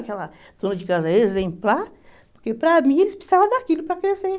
Aquela dona de casa exemplar, porque para mim eles precisavam daquilo para crescer.